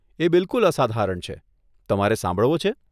એ બિલકુલ અસાધારણ છે, તમારે સાંભળવો છે?